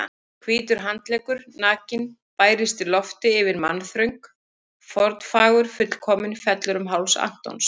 Hvítur handleggur, nakinn, bærist í lofti yfir mannþröng, formfagur, fullkominn, fellur um háls Antons.